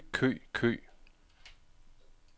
kø kø kø